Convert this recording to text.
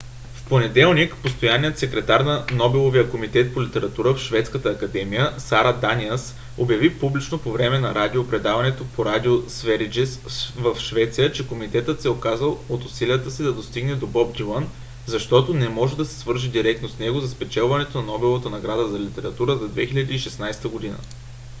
в понеделник постоянният секретар на нобеловия комитет по литература в шведската академия сара даниъс обяви публично по време на радио предаване по радио sveriges в швеция че комитетът се е отказал от усилията си да достигне до боб дилън защото не може да се свърже директно с него за спечелването на нобеловата награда за литература за 2016 г